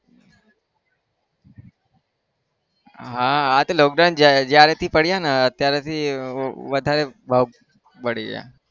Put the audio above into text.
હા હા તો lockdown જ્યાં જયારેથી પડિયાને ત્યારેથી વધારે ભાવ વધી ગયા.